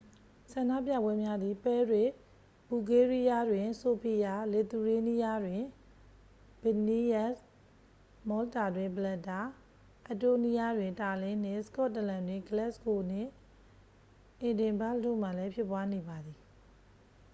ဆန္ဒပြပွဲများသည် ပဲရစ် ဘူလ်ဂေးရီးယားတွင် ဆိုဖီယာ လစ်သူရေးနီးယားတွင် ဗစ်လ်နီးယပ်စ် မောလ်တာတွင် ဗလက်တာ အက်စ်တိုးနီယားတွင် တာလင်းနှင့် စကော့တလန်တွင် ဂလက်စ်ဂိုနှင့် အေဒင်ဘာ့ဂ်တို့မှာလည်းဖြစ်ပွားနေပါသည်